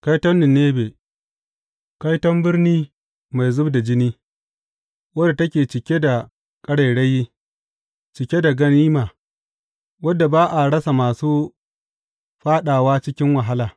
Kaiton Ninebe Kaiton birni mai zub da jini, wadda take cike da ƙarairayi, cike da ganima, wadda ba a rasa masu fāɗawa cikin wahala!